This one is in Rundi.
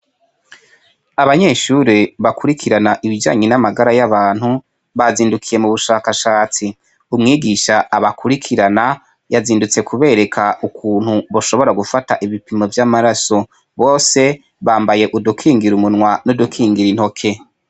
Abanyeshuri bakurikirana ibijanye n'amagara y'abantu bazindukiye mu bushakashatsi umwigisha abakurikirana yazindutse kubereka ukuntu boshobora gufata ibipimo vy'amaraso bose bambaye udukingira umunwa n'udukingira intoke.